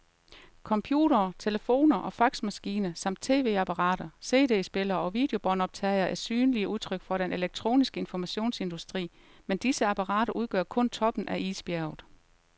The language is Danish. Computere, telefoner og faxmaskiner samt tv-apparater, cd-spillere og videobåndoptagere er synlige udtryk for den elektroniske informationsindustri, men disse apparater udgør kun toppen af isbjerget.